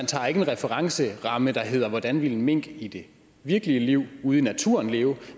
tager en referenceramme der hedder hvordan ville mink i det virkelige liv ude i naturen leve